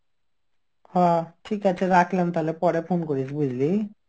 হ ঠিক আছে রাখলাম তাহলে পরে phone করিস বুঝলি.